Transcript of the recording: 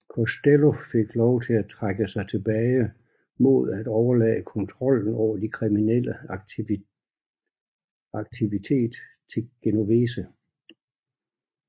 Costello fik lov til at trække sig tilbage mod at overlade kontrollen over de kriminelle aktivitet til Genovese